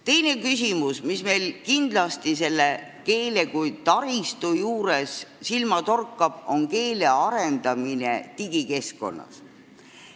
Teine küsimus, mis meil kindlasti keele kui taristu juures silma torkab, on selle arendamine digikeskkonnas.